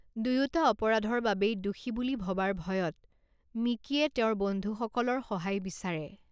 দুয়োটা অপৰাধৰ বাবেই দোষী বুলি ভবাৰ ভয়ত মিকীয়ে তেওঁৰ বন্ধুসকলৰ সহায় বিচাৰে।